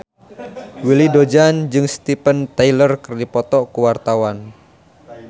Willy Dozan jeung Steven Tyler keur dipoto ku wartawan